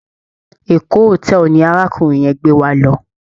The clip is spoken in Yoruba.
Eko hotel ni arákùnrin yẹn gbé wa lọ.